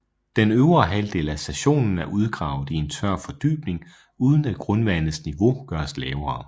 Den øvre halvdel af stationen er udgravet i en tør fordybning uden at grundvandets niveau gøres lavere